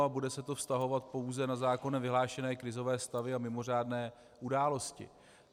A bude se to vztahovat pouze na zákonem vyhlášené krizové stavy a mimořádné události.